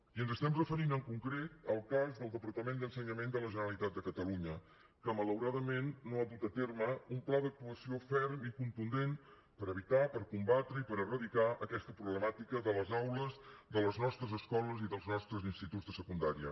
i ens referim en concret al cas del departament d’ensenyament de la generalitat de catalunya que malauradament no ha dut a terme un pla d’actuació ferm i contundent per evitar per combatre i per eradicar aquesta problemàtica de les aules de les nostres escoles i dels nostres instituts de secundària